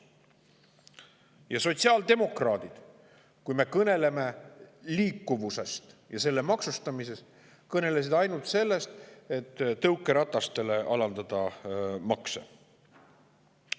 Ja sotsiaaldemokraadid, kui me kõneleme liikuvusest ja selle maksustamisest, kõnelesid ainult sellest, et tõukeratastele makse alandada.